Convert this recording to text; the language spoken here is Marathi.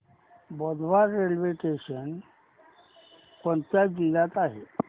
बोदवड रेल्वे स्टेशन कोणत्या जिल्ह्यात आहे